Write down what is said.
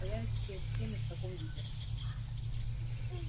появится перед всеми в таком виде